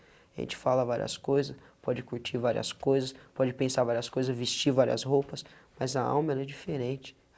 A gente fala várias coisas, pode curtir várias coisas, pode pensar várias coisas, vestir várias roupas, mas a alma ela é diferente.